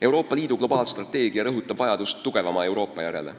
Euroopa Liidu globaalstrateegia rõhutab vajadust tugevama Euroopa järele.